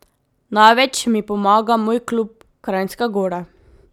Največ mi pomaga moj klub, Kranjska Gora.